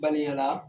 Balimaya la